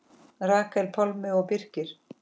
Rakel, Pálmi og Birkir.